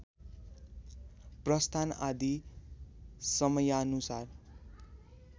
प्रस्थान आदि समयानुसार